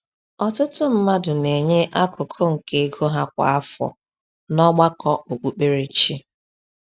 Ọtụtụ mmadụ na-enye akụkụ nke ego ha kwa afọ n’ọgbakọ okpukperechi.